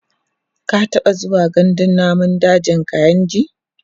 ka taɓa zuwa gandun dajin kainji?